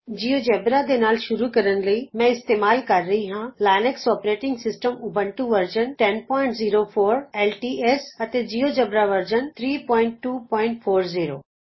GeoGebra ਦੇ ਨਾਲ ਸ਼ੁਰੂ ਕਰਨ ਲਈ ਮੈਂ ਇਸਤੇਮਾਲ ਕਰ ਰਹੀ ਹਾਂ Linux operating system Ubuntu version 1004 LTS Linux operating system Ubuntu version 1004 LTS ਅਤੇ ਜਿਉਜੇਬਰਾ ਵਰਜ਼ਨ 32400